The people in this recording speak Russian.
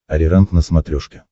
ариранг на смотрешке